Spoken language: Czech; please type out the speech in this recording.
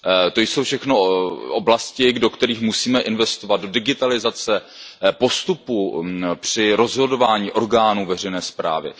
To jsou všechno oblasti, do kterých musíme investovat, do digitalizace postupů při rozhodování orgánů veřejné správy.